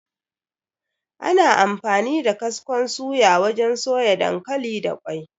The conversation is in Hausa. Ana amfani da kaskon suya wajen soya dankali da ƙwai.